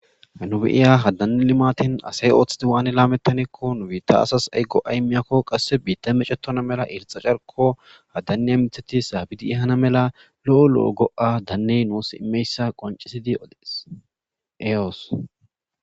Hano be'ya ha Dane limateyn asay othida waan lametaneko nu biita asa ay go'a imiyako qase bittay mecetona mala irxa carko ha daniya mithat sabid ehana mala daney nuus daro go'a imiyaysa qoncisid odes.